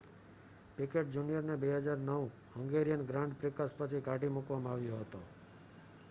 picked જુનિયરને 2009 Hungarian grand prix પછી કાઢી મૂકવામાં આવ્યો હતો